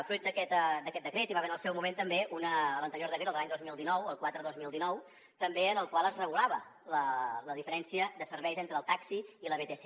fruit d’aquest decret hi va haver en el seu moment també l’anterior decret el de l’any dos mil dinou el quatre dos mil dinou en el qual es regulava la diferència de serveis entre el taxi i la vtc